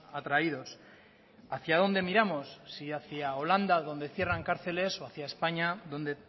atraídos hacia dónde miramos si hacia holanda donde cierran cárceles o hacia españa donde